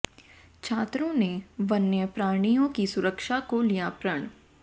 छात्रों ने वन्य प्राणियों की सुरक्षा को लिया प्रण